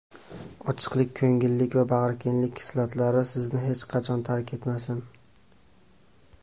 ochiq ko‘ngillik va bag‘rikenglik xislatlari sizni hech qachon tark etmasin.